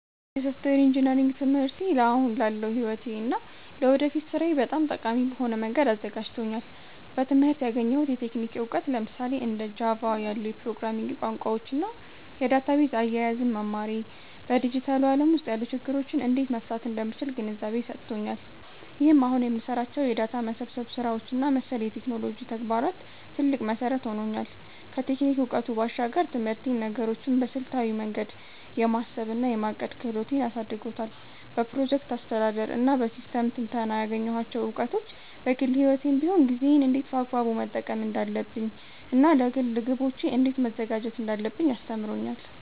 የሶፍትዌር ኢንጂነሪንግ ትምህርቴ አሁን ላለው ሕይወቴ እና ለወደፊት ሥራዬ በጣም ጠቃሚ በሆነ መንገድ አዘጋጅቶኛል። በትምህርቴ ያገኘሁት የቴክኒክ እውቀት፣ ለምሳሌ እንደ ጃቫ (Java) ያሉ የፕሮግራሚንግ ቋንቋዎችን እና የዳታቤዝ አያያዝን መማሬ፣ በዲጂታሉ ዓለም ውስጥ ያሉ ችግሮችን እንዴት መፍታት እንደምችል ግንዛቤ ሰጥቶኛል። ይህም አሁን ለምሰራቸው የዳታ መሰብሰብ ስራዎች እና መሰል የቴክኖሎጂ ተግባራት ትልቅ መሠረት ሆኖኛል። ከቴክኒክ እውቀቱ ባሻገር፣ ትምህርቴ ነገሮችን በስልታዊ መንገድ የማሰብ እና የማቀድ ክህሎቴን አሳድጎታል። በፕሮጀክት አስተዳደር እና በሲስተም ትንተና ያገኘኋቸው እውቀቶች፣ በግል ሕይወቴም ቢሆን ጊዜዬን እንዴት በአግባቡ መጠቀም እንዳለብኝ እና ለግል ግቦቼ እንዴት መዘጋጀት እንዳለብኝ አስተምሮኛል።